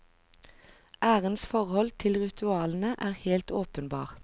Ærens forhold til ritualene er helt åpenbar.